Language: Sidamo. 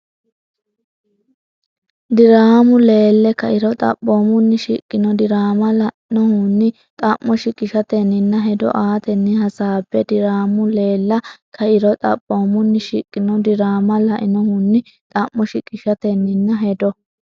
Diraamu leelle kairo, xaphoomunni shiqino diraama lainohunni xa’mo shiqishatenninna hedo aatenni hasaabbe Diraamu leelle kairo, xaphoomunni shiqino diraama lainohunni xa’mo shiqishatenninna hedo.